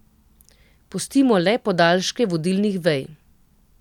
Pustimo le podaljške vodilnih vej.